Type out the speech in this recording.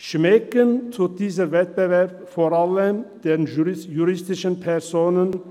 Schmecken tut dieser Wettbewerb vor allem den juristischen Personen.